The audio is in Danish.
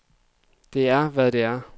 Der er, hvad det er.